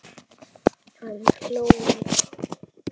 Hann hló líka.